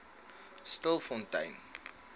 stilfontein